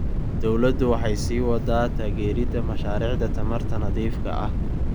Dawladdu waxay sii waddaa taageeridda mashaariicda tamarta nadiifka ah.